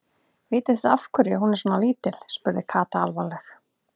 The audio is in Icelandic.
Vitið þið af hverju hún er svona lítil? spurði Kata alvarleg.